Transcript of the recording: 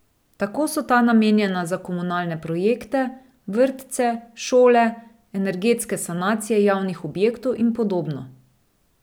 Tako so ta namenjena za komunalne projekte, vrtce, šole, energetske sanacije javnih objektov in podobno.